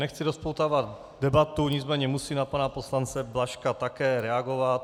Nechci rozpoutávat debatu, nicméně musím na pana poslance Blažka také reagovat.